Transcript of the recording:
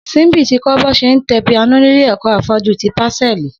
Simbi ti kọ̀ bọ ṣé n tẹ pìánó nilé ẹkọ áfọ̀jû ti pásẹ̀lí